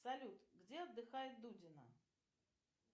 салют где отдыхает дудина